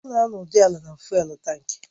Ọ na-anọdụ ala na fụ́élú tankị